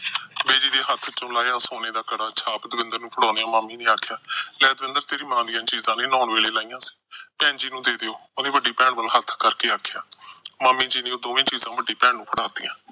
Busy ਦੇ ਹੱਥੋਂ ਸੋਨੇ ਦਾ ਕੜਾ ਤੇ ਛਾਪ ਦਵਿੰਦਰ ਨੂੰ ਫੜਾਉਂਦਿਆਂ ਮਾਮੀ ਨੇ ਆਖਿਆ, ਲੈ ਦਵਿੰਦਰ ਤੇਰੀ ਮਾਂ ਦੀਆਂ ਚੀਜਾਂ ਨੇ, ਨਹਾਉਣ ਵੇਲੇ ਲਾਹੀਆਂ ਸੀ। ਭੈਣ ਜੀ ਨੂੰ ਦੇ ਦਿਓ, ਉਹਦੀ ਵੱਡੀ ਭੈਣ ਵੱਲ ਹੱਥ ਕਰਕੇ ਆਖਿਆ। ਮਾਮੀ ਜੀ ਨੇ ਉਹ ਦੋਵੇਂ ਚੀਜਾਂ ਵੱਡੀ ਭੈਣ ਨੂੰ ਫੜਾਤੀਆਂ।